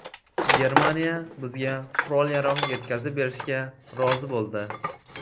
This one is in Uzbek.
Germaniya bizga qurol-yarog‘ yetkazib berishga rozi bo‘ldi”.